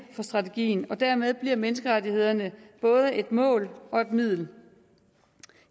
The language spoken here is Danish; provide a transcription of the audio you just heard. for strategien og dermed bliver menneskerettighederne både et mål og et middel